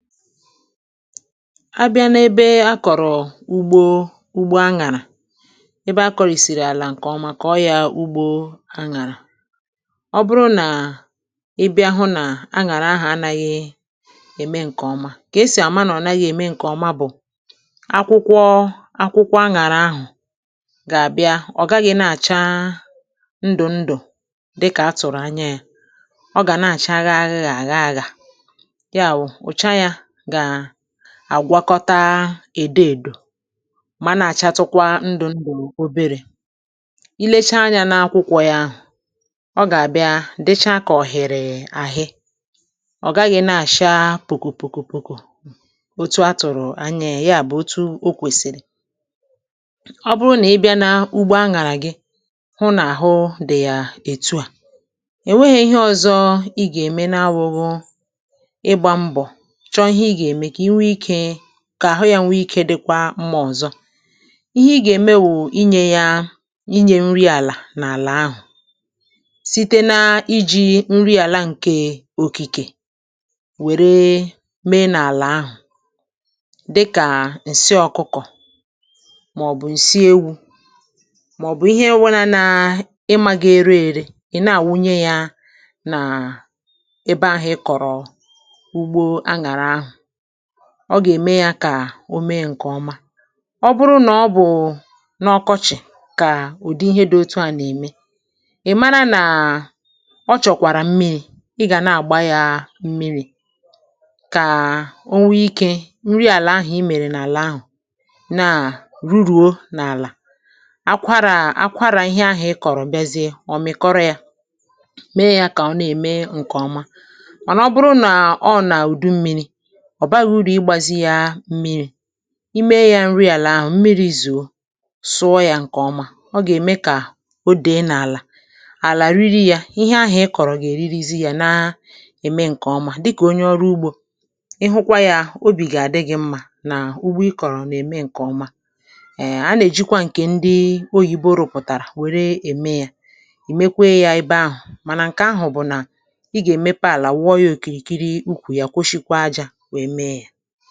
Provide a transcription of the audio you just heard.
A bịa n’ebe a kọ̀rọ̀ ugbo ugbo aṅàrà ebe a kọrìsìrì àlà ǹkè ọma koọ yȧ ugbo aṅàrà, ọ bụrụ nà ị bịa hụ nà aṅàrà ahụ̀ anaghị ème ǹkè ọma kà esì àma nà ọ̀ naghị ème ǹkèọma bụ̀ akwụkwọ akwụkwọ aṅàrà ahụ̀ gà-àbịa ọ̀ gaghị̇ na-àcha ndù ndù dịkà a tụ̀rụ̀ anya ya, ọ gà na-àcha agha agha àgha aghà agha, ya wụ̀, ọcha ya ga-àgwakọta èdo èdò mà nà-àcha tụkwa ndụ̀ ndụ oberė, i lechaa anyȧ n’akwụkwọ̇ ya ahụ, ọ gà-àbịa dịchaa kà ọ̀hiri àhị, ọ̀ gaghị̇ nà-àcha pòkòpòkòpoko òtu atụ̀rụ̀ anya yà bụ̀ òtu o kwèsìrì. Ọ bụrụ nà ị bịa n’ugbo aṅàrà gị hụ nà àhụ dị̀ yà ètu à, è nweghi̇ ihe ọ̇zọ̇ ị gà-ème n’abughu ịgba mbọ chọọ ihe ị ga-eme kà àhụ yȧ nwee ikė dịkwa mmȧ ọ̀zọ, ihe ị gà-ème wụ̀ inyė yȧ inyė nri àlà n’àlà ahụ̀ site na-iji̇ nri àlà ǹke òkìkè wère mee n’àlà ahụ̀ dịkà ǹsị ọkụkọ̀ màọ̀bụ̀ ǹsị ewu̇ màọ̀bụ̀ ihe e nwana ịmȧ ga-ere ère ị̀ na-àwunye yȧ nà ebe ahụ̇ ị kọ̀rọ̀ ugbo a nàrà ahụ̀, ọ gà-ème ya kà o mee ǹkè ọma ọ bụrụ nà ọ bụ̀ n’ọkọchị̀ kà ụ̀dị ihe dị otu à nà-ème ị̀ mara nàà ọ chọ̀kwàrà mmịrị̇ ị gà na-àgba ya mmịrị̇ kà o nwee ikė nri àlà ahụ̀ i mèrè nà àlà ahụ̀ naa ruru̇o n’àlà, akwarà akwarà ihe ahụ̀ ị kọ̀rọ̀ bịazịe ọ̀ mikọrọ ya mee yȧ kà ọ na-ème ǹkè ọma mànà ọ bụrụ nà ọ nàà ùdu mmiri̇ ọ̀ baghi urù igbȧzi ya mmiri̇ ime yȧ nri àlà ahụ̀ mmiri̇ zùo sụọ̇ yȧ ǹkè ọma ọ gà-ème kà o dèe n’àlà àlà riri yȧ ihe ahụ̀ ịkọ̀rọ̀ gà-èririzi yȧ na-ème ǹkè ọma dịkà onye ọrụ ugbȯ ị hụkwa yȧ obì gà-àdị gi̇ mmȧ nà ugbo ịkọ̀rọ̀ nà-ème ǹkè ọma èe a nà-èjikwa ǹkè ndi oyìbo rụ̀pụ̀tàrà wère ème yȧ ì mekwe yȧ ebe ahụ̀ mànà ǹkè ahụ̀ bụ̀ nà ị gà-èmepe àlà wụọ yȧ òkìrìkiri ukwù ya kwoshikwa ajȧ wee mee ya.